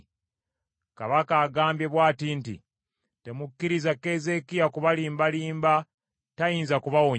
Kabaka agambye bw’ati nti, Temukkiriza Keezeekiya kubalimbalimba tayinza kubawonya.